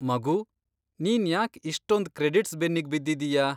ಮಗೂ, ನೀನ್ ಯಾಕ್ ಇಷ್ಟೊಂದ್ ಕ್ರೆಡಿಟ್ಸ್ ಬೆನ್ನಿಗ್ ಬಿದ್ದಿದೀಯ?